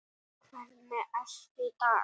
Gengið frá málum í